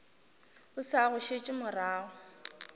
o sa go šetše morago